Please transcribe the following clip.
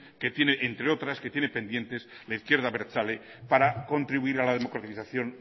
entre otras que tiene pendientes la izquierda abertzale para contribuir a la democratización